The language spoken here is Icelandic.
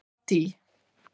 Addý